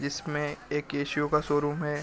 जिसमें एक केसिओ का शोरूम है।